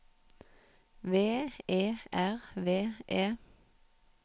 V E R V E